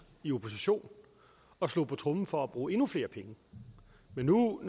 i opposition og slog på tromme for at bruge endnu flere penge men nu hvor